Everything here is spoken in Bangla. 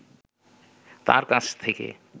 তাঁর কাছ থেকে